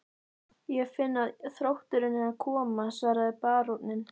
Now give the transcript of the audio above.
Ég finn að þrótturinn er að koma, svaraði baróninn.